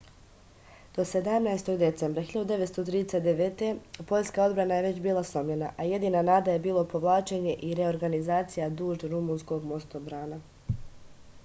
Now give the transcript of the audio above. do 17. septembra 1939. poljska odbrana je već bila slomljena a jedina nada je bilo povlačenje i reorganizacija duž rumunskog mostobrana